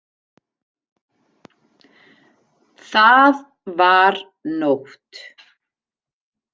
Það var nótt.